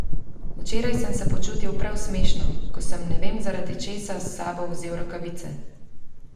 Včeraj sem se počutil prav smešno, ko sem ne vem zaradi česa s sabo vzel rokavice.